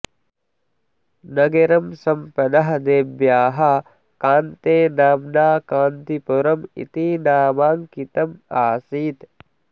नगरं सम्पदः देव्याः कान्ते नाम्ना कान्तिपुरम् इति नामाङ्कितम् आसीत्